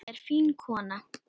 Hún er fín kona.